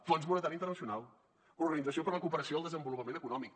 fons monetari internacional organització per a la cooperació i el desenvolupament econòmic